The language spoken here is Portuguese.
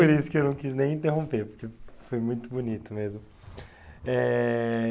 Por isso que eu não quis nem interromper, porque foi muito bonito mesmo.